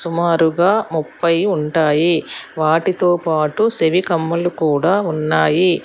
సుమారుగా ముప్పై ఉంటాయి వాటితో పాటు సెవి కమ్మలు కూడా ఉన్నాయి.